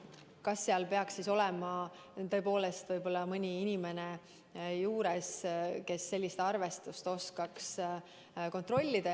Kas seal peaks olema tõepoolest mõni inimene, kes selliseid asju oskaks kontrollida?